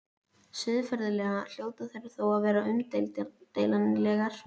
Siðferðilega hljóta þær þó að vera umdeilanlegar.